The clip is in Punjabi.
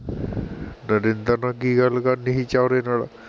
ਨਰਿੰਦਰ ਨਾਲ਼ ਕੀ ਗੱਲ ਕਰਣੀ ਸੀ ਚੋਊਰੇ ਨਾਲ਼